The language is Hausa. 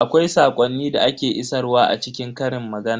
Akwai saƙonni da ake isarwa a cikin ƙarin magana.